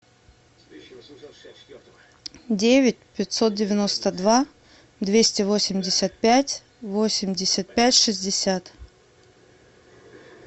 девять пятьсот девяносто два двести восемьдесят пять восемьдесят пять шестьдесят